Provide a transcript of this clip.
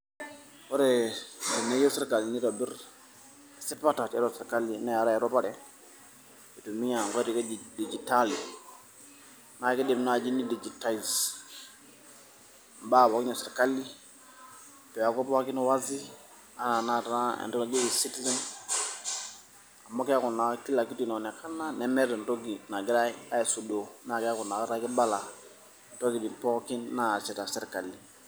Ore teneyieu sirkali nieitobir esipata tiatua serkali neetai erupare eitumiya inkoitoi edigitali naakeidim naaji ni digitize imbaa pookin esirkali neeku pookin wazi enaaatenaata entoki naki ezitizen amu keeku kila kitu imeonekana nemeeta entoki nagirai aisudoo naa keeku kibala imbaa pooki naasita serkali.